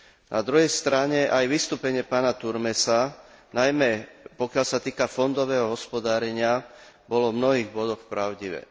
Na druhej strane aj vystúpenie pána Turmesa, najmä pokiaľ sa týka fondového hospodárenia, bolo v mnohých bodoch pravdivé.